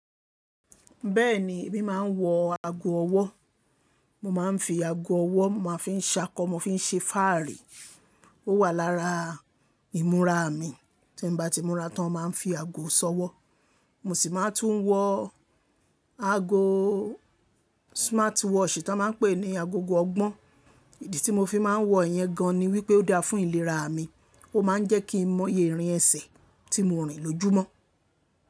Bẹ́ẹ̀ni èmi máa ń wọ ago ọwọ́. Mo máa ń fi ago ọwọ́, mo máa ń fi ṣakọ, mo máa ń fi ṣe fáàrí. Ó wà lára ìmúra mi. Tí n bá ti múra tán mo má ń fi ago ṣọwọ́. Mo sì máa ń tún wọ ago smartwatch tí wọ́n máa ń pè ní agogo ọgbọ́n. Ìdí tí mo fi máa ń wọ iyẹn gan ni wípé ó dáa fún ìlera mi. Ó máa ń jẹ́ kí n mọye ìrìn ẹsẹ̀ tí mo rìn lójúmọ́